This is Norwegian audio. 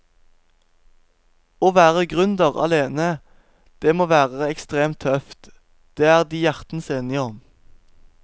Å være gründer alene, det må være ekstremt tøft, det er de hjertens enige om.